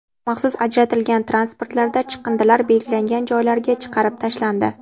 Maxsus ajratilgan transportlarda chiqindilar belgilangan joylarga chiqarib tashlandi.